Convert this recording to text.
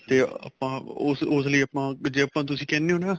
ਤੇ ਆਪਾਂ ਉਸ ਉਸ ਲਈ ਆਪਾਂ ਜ਼ੇ ਆਪਾਂ ਉਸ ਲਈ ਤੁਸੀਂ ਕਹਿਣੇ ਹੋ ਨਾ